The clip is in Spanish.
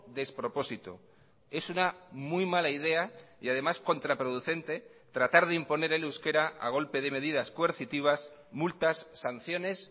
despropósito es una muy mala idea y además contraproducente tratar de imponer el euskera a golpe de medidas coercitivas multas sanciones